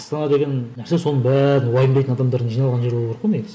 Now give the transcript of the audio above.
астана деген нәрсе соның бәрін уайымдайтын адамдардың жиналған жері болу керек қой негізі